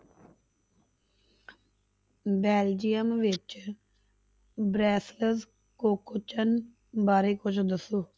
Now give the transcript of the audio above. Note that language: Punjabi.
ਬੈਲਜੀਅਮ ਵਿੱਚ ਕੋਕੋਚਨ ਬਾਰੇ ਕੁੱਝ ਦੱਸੋ।